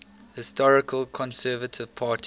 historical conservative party